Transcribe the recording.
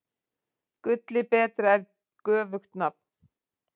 Gulli betra er göfugt nafn.